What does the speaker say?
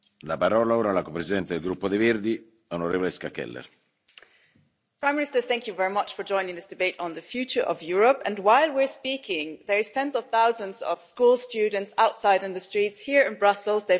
Mr President, Prime Minister I wish to thank you very much for joining in this debate on the future of Europe. And while we're speaking, there are tens of thousands of school students outside in the streets here in Brussels.